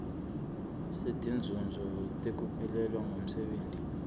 setinzuzo tekuphelelwa ngumsebenti